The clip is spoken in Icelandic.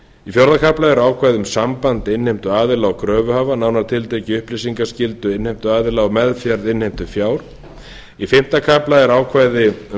í fjórða kafla eru ákvæði um samband innheimtuaðila og kröfuhafa nánar tiltekið upplýsingaskyldu innheimtuaðila og meðferð innheimtufjár í fimmta kafla eru ákvæði um